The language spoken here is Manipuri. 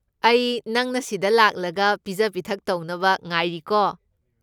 ꯑꯩ ꯅꯪꯅ ꯁꯤꯗ ꯂꯥꯛꯂꯒ ꯄꯤꯖ ꯄꯤꯊꯛ ꯇꯧꯅꯕ ꯉꯥꯏꯔꯤꯀꯣ꯫